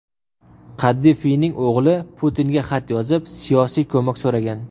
Qaddafiyning o‘g‘li Putinga xat yozib, siyosiy ko‘mak so‘ragan.